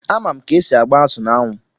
Ama m ka-esi agba azụ n'anwụ.